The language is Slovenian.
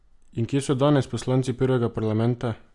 In kje so danes poslanci prvega parlamenta?